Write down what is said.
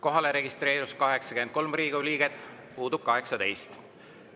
Kohalolijaks registreerus 83 Riigikogu liiget, puudub 18.